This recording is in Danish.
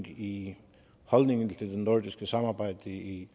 i holdningen til det nordiske samarbejde i